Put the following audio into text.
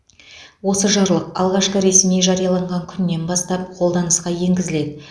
осы жарлық алғашқы ресми жарияланған күнінен бастап қолданысқа енгізіледі